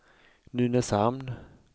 Nynäshamn